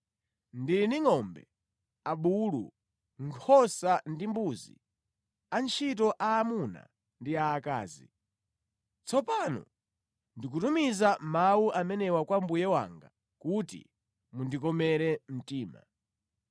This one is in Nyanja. Ndili ndi ngʼombe, abulu, nkhosa ndi mbuzi, antchito aamuna ndi aakazi. Tsopano ndikutumiza mawu amenewa kwa mbuye wanga, kuti mundikomere mtima.’ ”